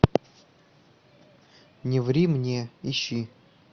не ври мне ищи